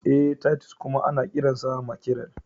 Ee, Titus kuma ana kiransa mackerel.